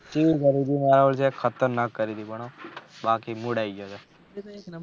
શું કર્યું છું ખતરનાક કયું થી હા પણ બાકી મૂળ આયી ગયો હા